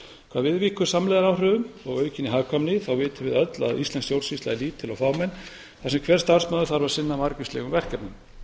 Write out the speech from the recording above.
hvað viðvíkur samlegðaráhrifum og aukinni hagkvæmni vitum við öll að íslensk stjórnsýsla er lítil og fámenn þar sem hver starfsmaður þarf að sinna margvíslegum verkefnum